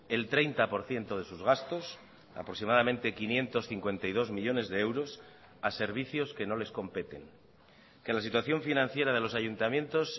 el treinta por ciento de sus gastos aproximadamente quinientos cincuenta y dos millónes de euros a servicios que no les competen que la situación financiera de los ayuntamientos